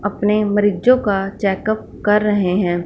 अपने मरीजो का चेकअप कर रहे हैं।